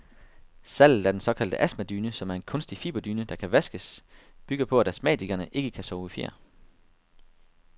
Salget af den såkaldte astmadyne, som er en kunstig fiberdyne, der kan vaskes, bygger på, at astmatikere ikke kan sove i fjer.